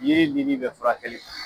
Yiri lili bɛ furakɛli kɛ.